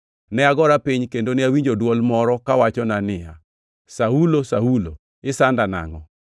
Ne agora piny kendo ne awinjo dwol moro kawachona ni, ‘Saulo! Saulo! Isanda nangʼo?’